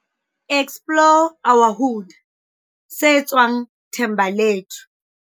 Explore our Hood, se tswang Thembalethu.